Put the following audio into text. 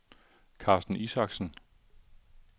Carsten Isaksen